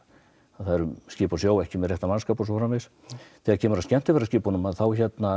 það eru skip á sjó ekki með réttan mannskap eða svoleiðis þegar kemur að skemmtiferðaskipunum þá